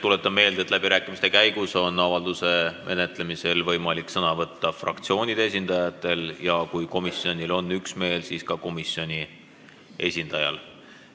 Tuletan meelde, et läbirääkimiste käigus on avalduse menetlemisel võimalik sõna võtta fraktsioonide esindajatel ja kui komisjonil on üksmeel, siis ka komisjoni esindajal.